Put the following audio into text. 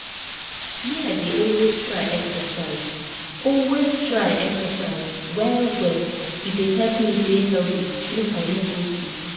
me i dey always try exercise always try exercise well well e dey help me dey healthy make i no go sick.